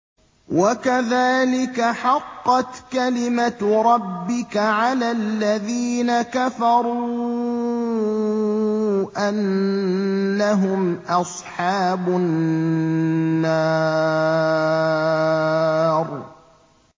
وَكَذَٰلِكَ حَقَّتْ كَلِمَتُ رَبِّكَ عَلَى الَّذِينَ كَفَرُوا أَنَّهُمْ أَصْحَابُ النَّارِ